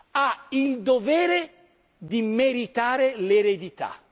Ha il dovere di meritare l'eredità.